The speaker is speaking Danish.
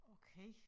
Okay